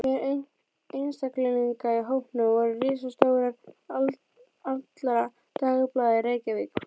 Meðal einstaklinga í hópnum voru ritstjórar allra dagblaða í Reykjavík.